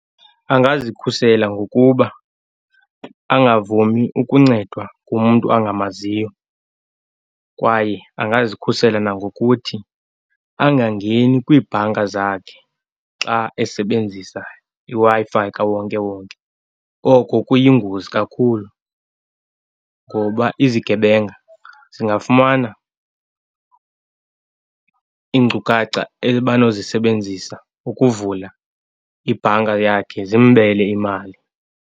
Angazikhusela ngokuba angavumi ukuncedwa ngumntu angamaziyo kwaye angazikhusela nangokuthi angangeni kwiibhanka zakhe xa esebenzisa iWi-Fi kawonkewonke. Oko kuyingozi kakhulu ngoba izigebenga zingafumana iinkcukacha ebanozisebenzisa ukuvula ibhanka yakhe, zimbele imali.